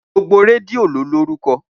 Gbogbo rẹdìo lọ lórúkọ.